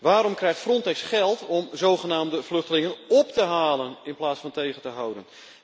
Waarom krijgt Frontex geld om zogenaamde vluchtelingen op te halen in plaats van tegen te houden?